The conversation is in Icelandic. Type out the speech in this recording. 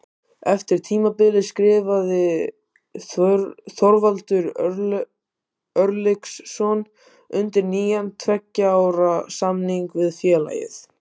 Eftir tímabilið skrifaði Þorvaldur Örlygsson undir nýjan tveggja ára samning við félagið.